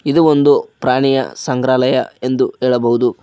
ಇದು ಒಂದು ಪ್ರಾಣಿಯ ಸಂಗ್ರಹಾಲಯ ಎಂದು ಹೇಳಬಹುದು.